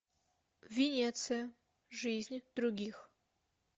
венеция жизнь других